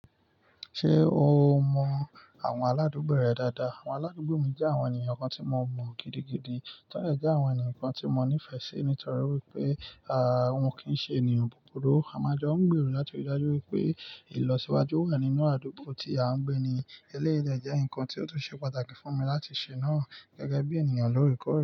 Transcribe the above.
Ṣé o mọ àwọn aládùúgbò rẹ dáadáa? Àwọn aládùúgbò mi jẹ́ àwọn ènìyàn kan tí mo mọ gidigidi, tọ́lẹ̀ẹ́ jẹ́ àwọn ènìyàn kan tí mo nífẹ̀ẹ́ sí nítorí wípé àwọn kì ń ṣe ènìyàn búburú. Àmajá ń gbèrò láti rí i dájú wípé ìlọsíwájú wà nínú àdúgbò tí a ń gbé ni. Eléèlé jẹ́ nǹkan tí ó tún ṣe pàtàkì fún mi láti ṣe náà gẹ́gẹ́ bí ènìyàn lorukọ rẹ.